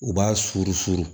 U b'a suuru suuru